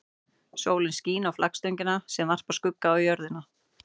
Sólin skín á flaggstöngina sem varpar skugga á jörðina.